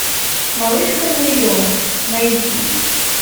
малышка на миллион найди